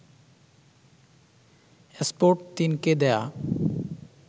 esport ৩' কে দেয়া